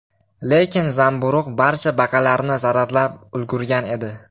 Lekin zamburug‘ barcha baqalarni zararlab ulgurgan edi.